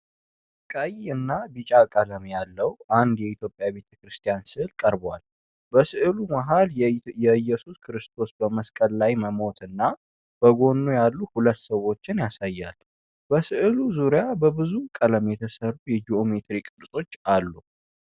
ቀይና ቢጫ ቀለም ያለው አንድ የኢትዮጵያ የቤተክርስቲያን ሥዕል ቀርቧል፡፡ በሥዕሉ መሃል የኢየሱስ ክርስቶስ በመስቀል ላይ መሞትና በጎኑ ያሉ ሁለት ሰዎችን ያሳያል፡፡ በሥዕሉ ዙሪያ በብዙ ቀለም የተሰሩ የጂኦሜትሪ ቅርጾች አሉ፡፡